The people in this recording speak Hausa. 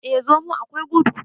eh! zomo akwai gudu